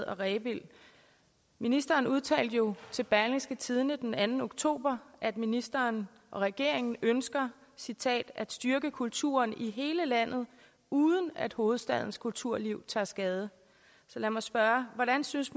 og rebild ministeren udtalte jo til berlingske tidende den anden oktober at ministeren og regeringen ønsker citat at styrke kulturen i hele landet uden at hovedstadens kulturliv tager skade så lad mig spørge hvordan synes